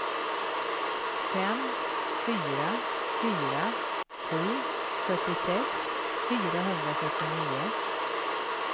fem fyra fyra sju fyrtiosex fyrahundrafyrtionio